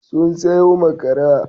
Sun sayo makara.